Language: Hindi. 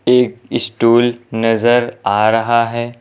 एक स्टूल नजर आ रहा है।